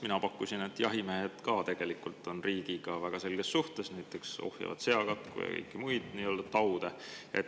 Mina pakkusin, et jahimehed ka on riigiga väga selges suhtes, näiteks ohjeldavad seakatku ja kõiki muid taude.